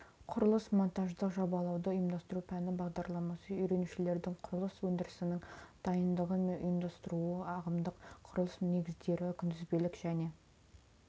құрылыс-монтаждық жобалауды ұйымдастыру пәні бағдарламасы үйренушілердің құрылыс өндірісінің дайындығы мен ұйымдастыруы ағымдық құрылыс негіздері күнтізбелік және